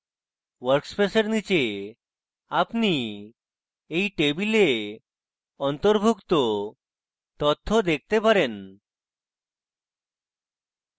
workspace এর নীচে আপনি এই টেবিলে অন্তর্ভুক্ত তথ্য দেখতে পারেন